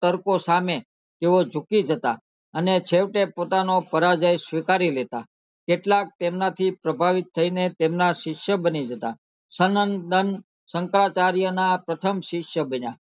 તડકો સામે તેઓ જુકી જતા અને છેવટે પોતાનો પરાજય શીવકારી લેતા કેટલાક તેમના થી પ્રભાવિત થઈને તેમના શીષ્ય બની જતા સનંત દંત સકાર્યચાર્ય ના પ્રથમ શિષ્ય બન્યા